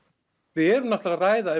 við erum náttúrulega að ræða